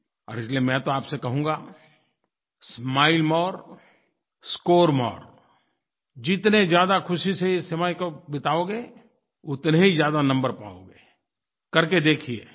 और इसलिए मैं तो आपसे कहूँगा स्माइल मोरे स्कोर मोरे जितनी ज़्यादा ख़ुशी से इस समय को बिताओगे उतने ही ज़्यादा नंबर पाओगे करके देखिए